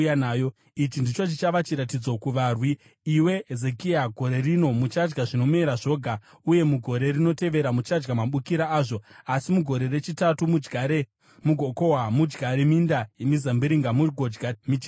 “Ichi ndicho chichava chiratidzo kuvarwi, iwe Hezekia: “Gore rino muchadya zvinomera zvoga, uye mugore rinotevera muchadya mabukira azvo. Asi mugore rechitatu mudyare mugokohwa, mudyare minda yemizambiringa mugodya michero yayo.